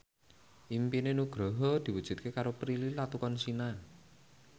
impine Nugroho diwujudke karo Prilly Latuconsina